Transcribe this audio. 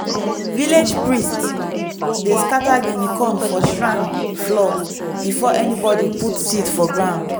village priest dey scatter guinea corn for shrine floor before anybody put seed for ground.